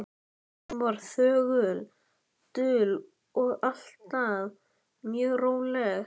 Hún var þögul, dul og alltaf mjög róleg.